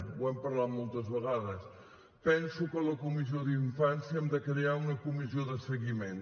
ho hem parlat moltes vegades penso que a la comissió de la infància n’hem de crear una comissió de seguiment